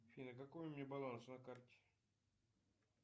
афина какой у меня баланс на карте